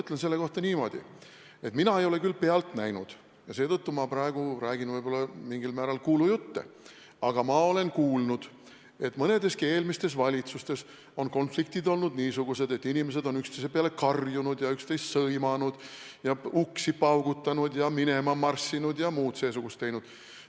Ma ütlen selle kohta niimoodi, et mina ei ole küll seda pealt näinud ja seetõttu ma praegu räägin võib-olla mingil määral kuulujutte, aga ma olen kuulnud, et mõneski eelmises valitsuses on konfliktid olnud niisugused, et inimesed on üksteise peale karjunud ja üksteist sõimanud ja uksi paugutanud ja minema marssinud ja muud seesugust teinud.